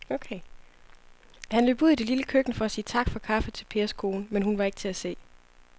Han løb ud i det lille køkken for at sige tak for kaffe til Pers kone, men hun var ikke til at se.